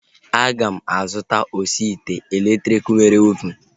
Aga m azụta osi ite elektriki nwere ovunu